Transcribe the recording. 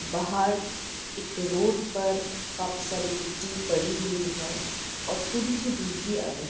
बाहर एक रोड पर काफी सारी गिट्टी पड़ी हुई हैं और थोड़ी सी धूप भी आ रही हैं।